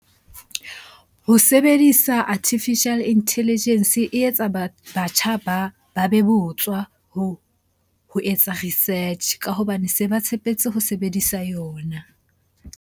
Ho sebedisa Artificial Intelligence e etsa batjha ba be botswa ho etsa research-e ka hobane se ba tshepetse ho sebedisa yona.